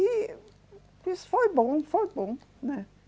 E isso foi bom, foi bom, né?